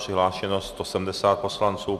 Přihlášeno 170 poslanců.